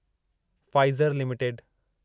Pfizer limited